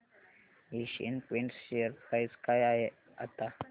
Asian paints share price काय आहे आता